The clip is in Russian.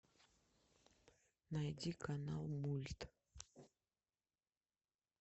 найди канал мульт